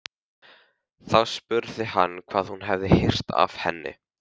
Þá spurði hann hvað hún hefði heyrt af henni.